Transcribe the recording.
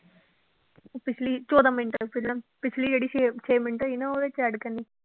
ਪਿੱਛਲੀ ਚੌਦਾਂ ਮਿੰਟ ਸੀਗਾ, ਪਿੱਛਲੀ ਜਿਹੜੀ ਛੇ ਛੇ ਮਿੰਟ ਹੋਈ ਨਾ ਉਹਦੇ ਚ add ਕਰਨੀ